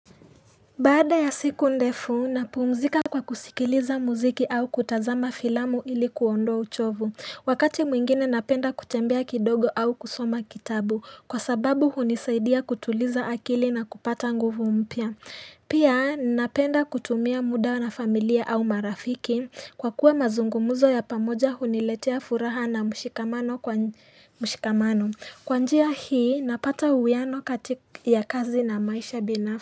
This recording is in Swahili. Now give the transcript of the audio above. Baada ya siku ndefu, napumzika kwa kusikiliza muziki au kutazama filamu ili kuondoa uchovu. Wakati mwingine napenda kutembea kidogo au kusoma kitabu, kwa sababu hunisaidia kutuliza akili na kupata nguvu mpya. Pia, napenda kutumia muda na familia au marafiki, kwa kuwa mazungumuzo ya pamoja huniletea furaha na mshikamano. Kwa njia hii, napata uwiano kati ya kazi na maisha binafsi.